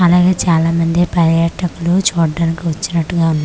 అలాగే చాలామంది పర్యాటకులు చూడ్డానికి వచ్చినట్టుగా ఉం--